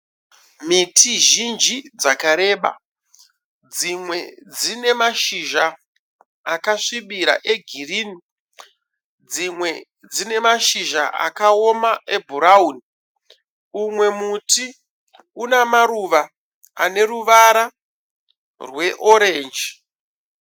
Miti zhinji dzakareba. Dzimwe dzine mashizha akasvibira egirinhi. Dzimwe dzinemashizha akaoma ebhurawuni. Umwe muti une maruva ane ruvara rweorenji.